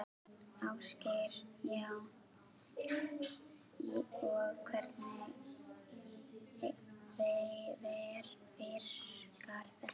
Ásgeir: Já, og hvernig virkar þetta?